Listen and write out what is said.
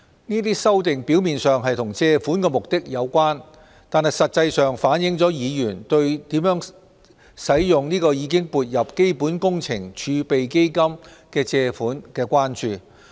這些修訂表面上與借款目的有關，但實際上反映了議員對如何使用已撥入基本工程儲備基金的借款的關注。